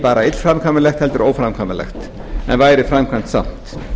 bara illframkvæmanlegt heldur óframkvæmanlegt en væri framkvæmt samt